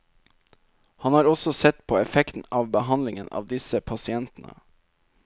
Han har også sett på effekten av behandlingen av disse pasientene.